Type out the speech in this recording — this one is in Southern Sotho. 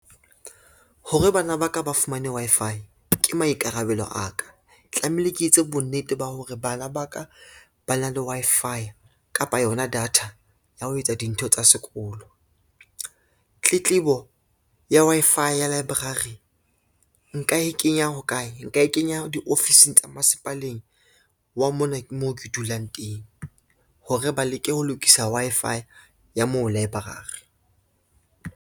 Hore bana ba ka ba fumane Wi-Fi, ke maikarabelo a ka tlamehile ke etse bonnete ba hore bana ba ka ba na le Wi-Fi kapa yona data ya ho etsa dintho tsa sekolo. Tletlebo ya Wi-Fi ya library nka e kenya hokae, nka e kenya diofising tsa masepaleng wa mona moo ke dulang teng, hore ba leke ho lokisa Wi-Fi ya moo library.